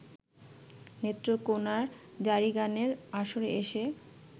নেত্রকোনার জারিগানের আসরে এসে